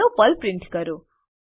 hello Perl print કરો